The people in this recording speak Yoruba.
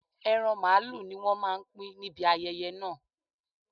Ẹran màlúù ni wọ́n máa pín níbi ayẹyẹ náà